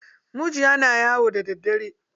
Mujiya na yawo da daddare.